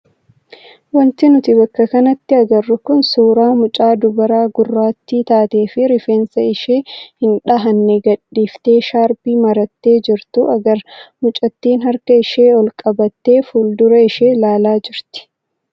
Wanti nuti bakka kanatti agarru kun suuraa mucaa dubaraa gurraattii taatee fi rifeensa ishee hin dhahamne gadhiiftee shaarbii marattee jirtu agarra. Mucattiin harka ishee ol qabattee fuuldura ishee ilaalaa jirti.